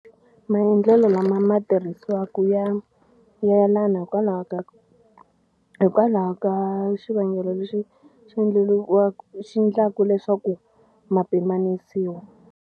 Maendlelo lama ma tirhisiwaka ya yelana hikwalaho ka hikwalaho ka xivangelo lexi xi endleriwa xi endlaku leswaku ma pimanisiwa.